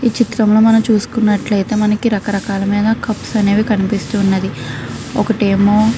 ఇక్కడ మనం చూసి నటు అయతే రక రకాల సుప్స్ అనేవే కనిపిస్తునాయి. ఒకటి ఏమో --